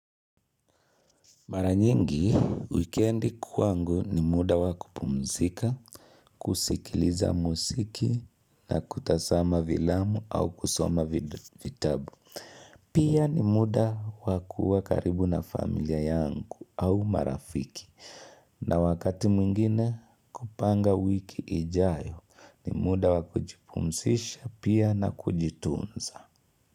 Mara nyingi, wekendi kwangu ni muda wa kupumzika, kusikiliza musiki na kutasama vilamu au kusoma vitabu. Pia ni muda wa kua karibu na familia yanku au marafiki. Na wakati mwingine kupanga wiki ijayo ni muda wa kujipumsisha pia na kujitunza.